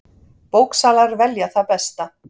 Bóksalar velja það besta